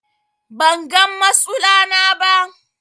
bangan masula na ba